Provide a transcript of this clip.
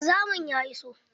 Wanzamin ya iso